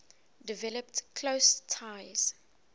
developed close ties